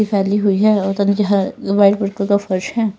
फैली हुई है और फर्श है।